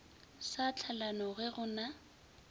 sa tlhalano ge go na